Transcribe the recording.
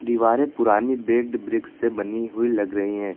दिवारे पुरानी baked bricks से बनी हुई लग रही है।